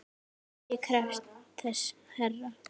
Ég krefst þess herra!